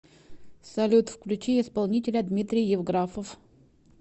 салют включи исполнителя дмитрий евграфов